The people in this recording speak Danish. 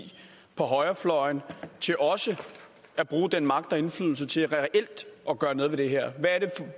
på højrefløjen til også at bruge den magt og indflydelse til reelt at gøre noget ved det her hvad er det